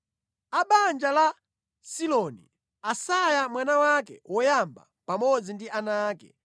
A banja la Siloni: Asaya mwana wake woyamba pamodzi ndi ana ake.